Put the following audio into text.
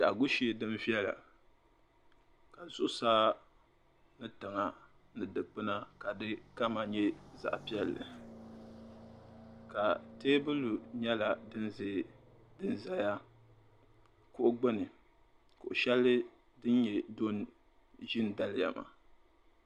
biɛhigu shee din viɛla ka zuɣusaa ni tiŋa dukpuna ka di kama nyɛ zaɣ' piɛlli ka teebuli nyɛla din zaya kuɣu gbuni kuɣ' shɛli din nyɛ do n-ʒi daliya maa.